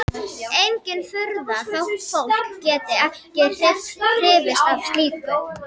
Engin furða þótt fólk geti ekki hrifist af slíku.